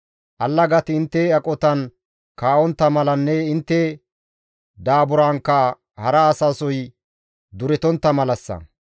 Allagati intte aqotan kaa7ontta malanne intte daaburankka hara asasoy duretontta malassa.